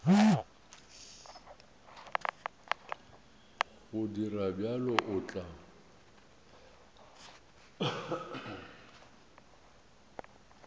go dira bjalo o tla